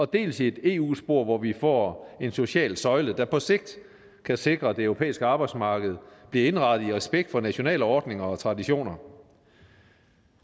dels i eu spor hvor vi får en social søjle der på sigt kan sikre at det europæiske arbejdsmarked bliver indrettet i respekt for nationale ordninger og traditioner